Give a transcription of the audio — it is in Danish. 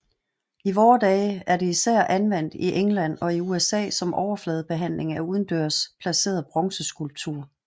I vore dage er det især anvendt i England og USA som overfladebehandling af udendørs placeret bronzeskulptur